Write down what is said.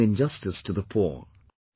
It is an injustice to the poor